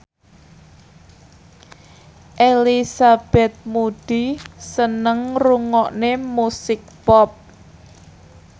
Elizabeth Moody seneng ngrungokne musik pop